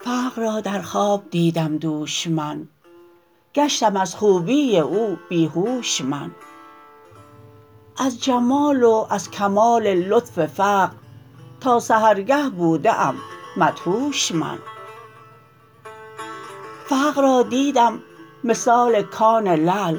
فقر را در خواب دیدم دوش من گشتم از خوبی او بی هوش من از جمال و از کمال لطف فقر تا سحرگه بوده ام مدهوش من فقر را دیدم مثال کان لعل